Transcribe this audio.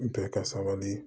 Bɛɛ ka sabali